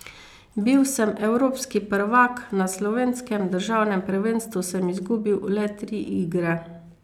Bil sem evropski prvak, na slovenskem državnem prvenstvu sem izgubil le tri igre.